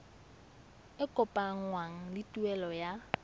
e kopanngwang le tuelo ya